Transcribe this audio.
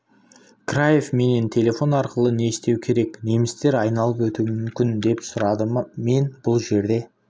краев менен телефон арқылы не істеу керек немістер айналып өтуі мүмкін деп сұрады Ма мен бұл жерде